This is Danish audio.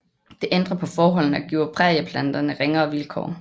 Det ændrer på forholdene og giver prærieplanterne ringere vilkår